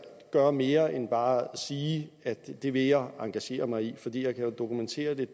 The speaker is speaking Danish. gøre mere end bare at sige at det vil jeg engagere mig i for jeg kan jo dokumentere det